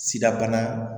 Sidabana